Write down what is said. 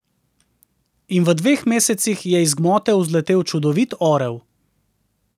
In v dveh mesecih je iz gmote vzletel čudovit orel.